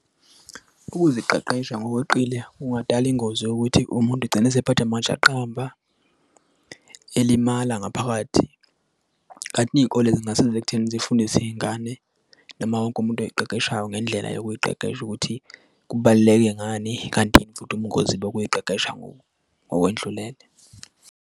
Ukuziqeqesha ngokweqile kungadala ingozi yokuthi umuntu egcina esephathwa amajaqamba elimala ngaphakathi kanti iy'kole zingasiza ekutheni zifundise iy'ngane noma wonke umuntu oyiqeqeshiye ngendlela yokuqeqesha ukuthi kubaluleke ngani, kanti yini futhi ubungozi bokuy'qeqesha ngokwendlulele.